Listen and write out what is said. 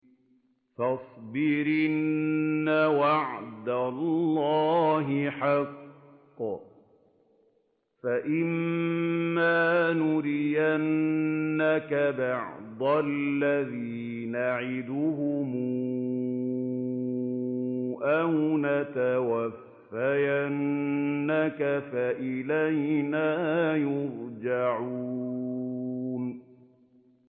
فَاصْبِرْ إِنَّ وَعْدَ اللَّهِ حَقٌّ ۚ فَإِمَّا نُرِيَنَّكَ بَعْضَ الَّذِي نَعِدُهُمْ أَوْ نَتَوَفَّيَنَّكَ فَإِلَيْنَا يُرْجَعُونَ